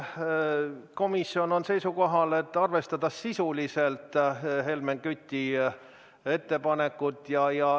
Komisjon on seisukohal, et Helmen Küti ettepanekut tuleb arvestada sisuliselt.